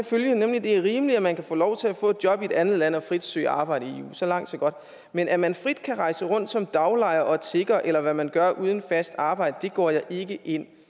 følgende det er rimeligt at man kan få lov til at få job i et andet land og frit søge arbejde i eu så langt så godt men at man frit kan rejse rundt som daglejere og tiggere eller hvad man gør uden fast arbejde det går jeg ikke ind